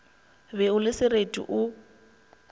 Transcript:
be o le sereti o